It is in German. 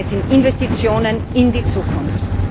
Denn es sind Investitionen in die Zukunft.